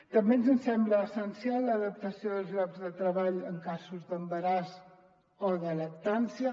també ens sembla essencial l’adaptació dels llocs de treball en casos d’embaràs o de lactància